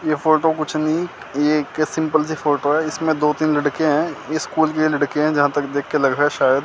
ये फोटो कुछ नहीं ये एक सिंपल सी फोटो है इसमें दो तीन लड़के हैं ये स्कूल के लड़के हैं जहां तक देख के लग रहा है शायद --